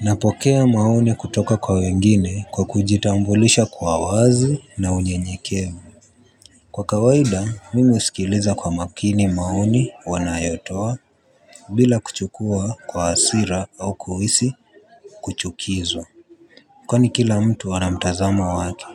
Napokea maoni kutoka kwa wengine kwa kujitambulisha kwa uwazi na unyenyekevu. Kwa kawaida mimi uhsikiliza kwa makini maoni wanayotoa bila kuchukua kwa hasira au kuhisi kuchukizwa. Kwani kila mtu ana mtazamo wake.